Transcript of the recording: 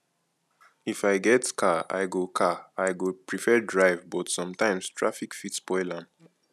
if i get car i go car i go prefer drive but sometimes traffic fit spoil am